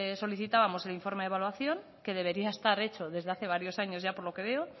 solicitamos el informe de evaluación que debería de estar hecho desde hace varios años ya por lo que veo